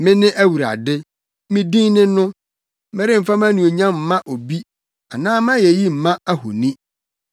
“Mene Awurade; me din ne no! Meremfa mʼanuonyam mma obi anaa mʼayeyi mma ahoni.